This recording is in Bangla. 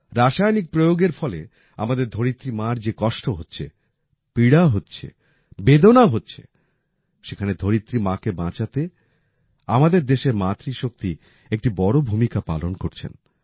রাসায়ানিক প্রয়োগের ফলে আমাদের ধরিত্রী মার যে কষ্ট হচ্ছে পীড়া হচ্ছে বেদনা হচ্ছে সেখানে ধরিত্রী মাকে বাচাঁতে আমাদের দেশের মাতৃশক্তি একটি বড় ভূমিকা পালন করছেন